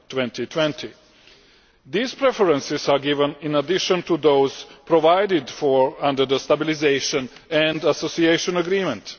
2020. These preferences are given in addition to those provided for under the Stabilisation and Association Agreement.